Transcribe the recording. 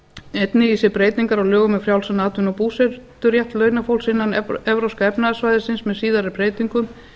einnig í sér breytingar á lögum um frjálsan atvinnu og búseturétt launafólks innan evrópska efnahagssvæðisins með síðari breytingum